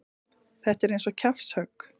Þetta er eins og kjaftshögg.